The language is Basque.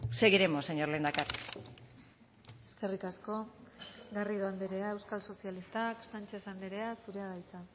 seguiremos señor lehendakari eskerrik asko garrido andrea euskal sozialistak sánchez andrea zurea da hitza